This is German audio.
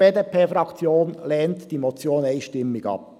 Die BDP-Fraktion lehnt diese einstimmig ab.